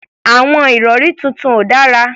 Àwọn ìrọ̀rí tuntun ò dára.